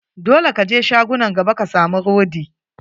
Dole ka je shagunan gaba ka samu rodi.